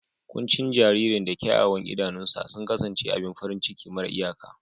Kuncin jaririn da kyawawan idanuwansa sun kasance abin farin ciki mara iyaka.